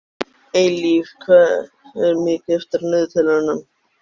Eilíf, hvað er mikið eftir af niðurteljaranum?